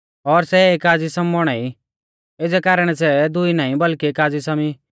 और सै एका ज़िसम बौणा ई एज़ै कारणै सै दुई नाईं बल्कि एक ज़िसम ई